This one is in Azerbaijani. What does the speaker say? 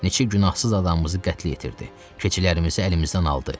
Neçə günahsız adamımızı qətl yetirdi, keçilərimizi əlimizdən aldı.